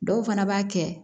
Dɔw fana b'a kɛ